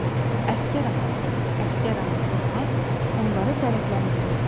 Əsgər atası, əsgər anası olmaq onları fərəhləndirirdi.